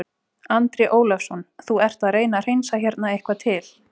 Andri Ólafsson: Þú ert að reyna að hreinsa hérna eitthvað til?